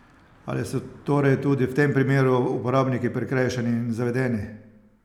Ali so torej tudi v tem primeru uporabniki prikrajšani in zavedeni?